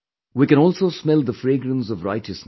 We can also smell the fragrance of righteousness